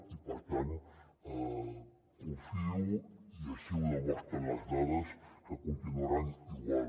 i per tant confio i així ho demostren les dades que continuaran igual